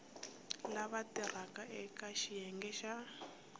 lava tirhaka eka xiyenge xa